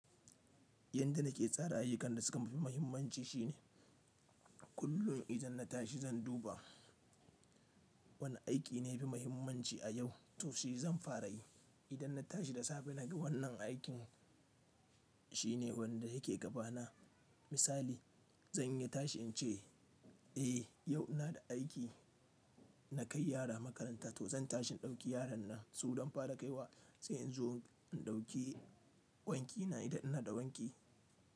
Yadda nake tsara ayyukan da suka fi muhimmanci shine kullum idan na tashi zan duba wane aiki ne yafi muhimmanci a yau to shi zan fara yi. Idan na tashi da safe na ga wannan aikin shine wanda yake gaba na misali zan iya tashi in ce eh yau ina da aiki na kai yara makaranta to zan tashi in dauki yaran nan su zan fara kai wa sai in zo in dauki wanki na idan ina da wanki.